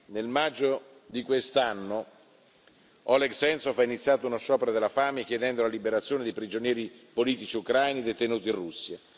Nel maggio di quest'anno Oleg Sentsov ha iniziato uno sciopero della fame, chiedendo la liberazione dei prigionieri politici ucraini detenuti in Russia.